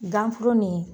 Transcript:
Ganforo ni